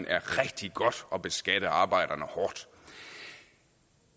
er rigtig godt at beskatte arbejderne hårdt